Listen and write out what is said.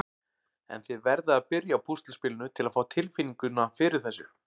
En þið verðið að byrja á púsluspilinu til að fá tilfinninguna fyrir þessu.